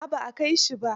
A'a ba a kai shi ba.